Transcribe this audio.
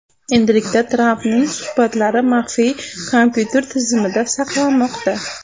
Endilikda Trampning suhbatlari maxfiy kompyuter tizimida saqlanmoqda.